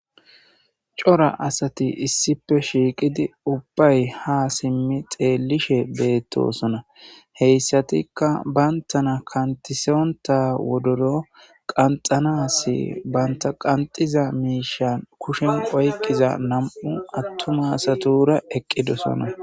cora asati issipe shiiqidi ubbay ha simmi xeellishe beettosona heyssatikka bayntana kantisonta wodoro qanxanasi banta qanxiza miishan kushen oyqiza nam7u attumasatura eqqidosona